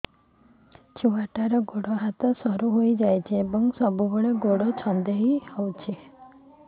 ଛୁଆଟାର ଗୋଡ଼ ହାତ ସରୁ ହୋଇଯାଇଛି ଏବଂ ସବୁବେଳେ ଗୋଡ଼ ଛଂଦେଇ ହେଉଛି